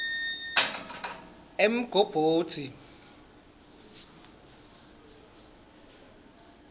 emgobodzi